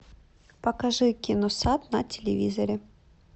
покажи киносат на телевизоре